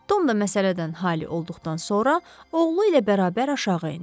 Tom da məsələdən halə olduqdan sonra oğlu ilə bərabər aşağı endi.